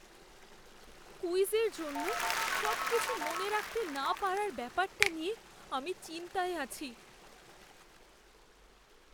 কুইজের জন্য সবকিছু মনে রাখতে না পারার ব্যাপারটা নিয়ে আমি চিন্তায় আছি।